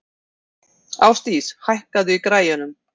Ásdís, hækkaðu í græjunum.